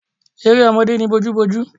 Eré ọmọdé ni bojúbojú.